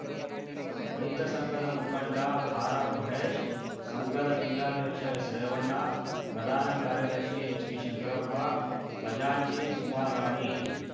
ರೈತ ಸಂಘದ ಮುಖಂಡ ಆರ್‌ಆರ್‌ ಮಹೇಶ್‌ ಸಂಘದ ಜಿಲ್ಲಾಧ್ಯಕ್ಷ ಎಸ್‌ರೇವಣ್ಣ ಪ್ರಧಾನ ಕಾರ್ಯದರ್ಶಿ ಎಚ್‌ಪಿ ಶಂಕರಪ್ಪ ಖಜಾಂಚಿ ಸುಮಾರಾಣಿ